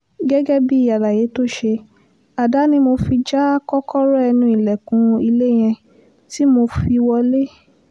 gẹ́gẹ́ bíi àlàyé tó ṣe àdá ni mo fi já kọ́kọ́rọ́ ẹnu ilẹ̀kùn ilé yẹn tí mo fi wọ́lẹ̀